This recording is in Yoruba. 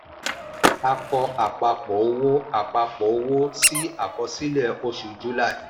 a kọ́ àpapọ̀ owó àpapọ̀ owó sí àkọsílẹ̀ oṣù july.